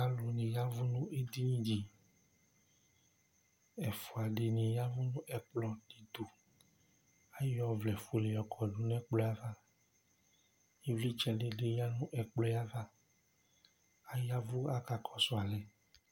alò ni ya vu no edini di ɛfua di ni ya vu n'ɛkplɔ di to ayɔ ɔvlɛ fuele yɔ kɔdu n'ɛkplɔ yɛ ava ivlitsɛ di ni ya no ɛkplɔ yɛ ava aya vu aka kɔsu alɛ